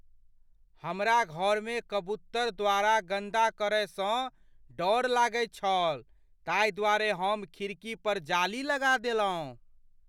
हमरा घरमे कबूतर द्वारा गन्दा करयसँ डर लागैत छल ताहिद्वारे हम खिड़की पर जाली लगा देलहुँ।